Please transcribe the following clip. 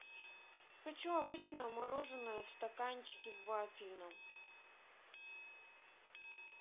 хочу обычное мороженое в стаканчике в вафельном